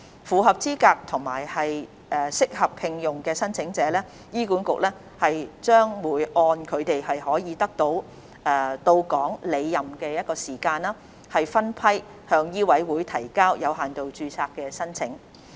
符合資格和適合聘用的申請者，醫管局將會按他們可以到港履任的時間，分批向醫委會提交有限度註冊申請。